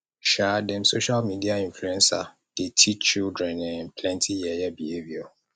um dem social media inluencer dey teach children um plenty yeye behaviour